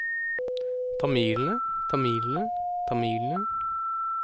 tamilene tamilene tamilene